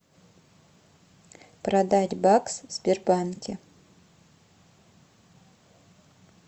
продать бакс в сбербанке